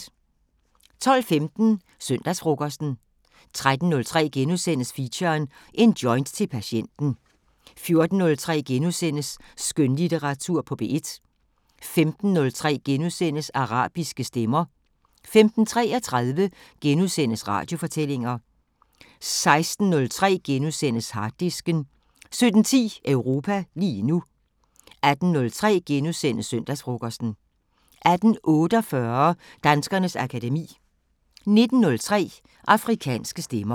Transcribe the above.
12:15: Søndagsfrokosten 13:03: Feature: En joint til patienten * 14:03: Skønlitteratur på P1 * 15:03: Arabiske Stemmer * 15:33: Radiofortællinger * 16:03: Harddisken * 17:10: Europa lige nu 18:03: Søndagsfrokosten * 18:48: Danskernes akademi 19:03: Afrikanske Stemmer